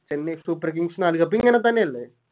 Chennai Super Kings നാല് Cup ഇങ്ങനെ തന്നെയല്ലേ